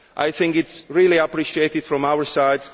This is really appreciated from our side.